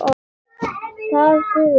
Það dugði.